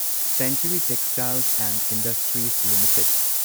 century Textiles and Industries limited